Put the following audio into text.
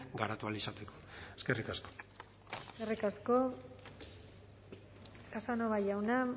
garatu ahal izateko eskerrik asko eskerrik asko casanova jauna